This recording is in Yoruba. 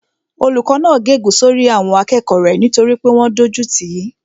Olùkó náà gé ègún sórí àwọn akẹ́kọ̀ọ́ rẹ̀ nítorí pé wọ́n dójú tìí